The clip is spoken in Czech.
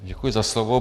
Děkuji za slovo.